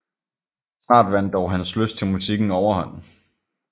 Snart vandt dog hans lyst til musikken overhånd